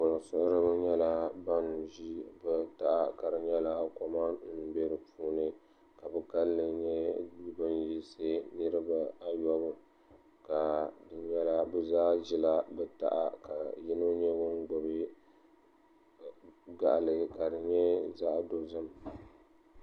Kulisiɣiriba nyɛla ban ʒi bɛ taha ka di nyɛla koma m-be di puuni ka bɛ kalinli nyɛ ban yiɣisi niriba ayɔbu ka di nyɛla bɛ zaa ʒila bɛ taha ka yino nyɛ ŋun gbubi gaɣili ka di nyɛ zaɣ' dɔzim